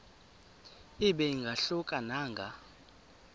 ibe ingahluka nanga